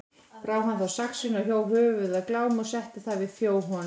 Brá hann þá saxinu og hjó höfuð af Glámi og setti það við þjó honum.